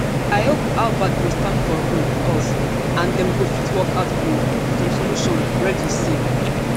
i hope harvard go stand for um us and dem go fit work out um some solution reddy say